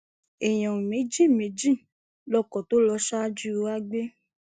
èèyàn méjì méjì lọkọ tó lọ ṣáájú wa gbé